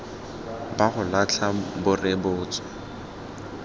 ba go latlha bo rebotswe